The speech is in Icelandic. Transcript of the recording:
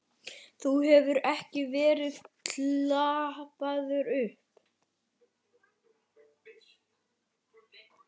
Þú hefur ekki verið klappaður upp?